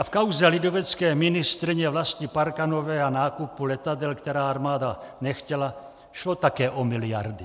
A v kauze lidovecké ministryně Vlasty Parkanové a nákupu letadel, která armáda nechtěla, šlo také o miliardy.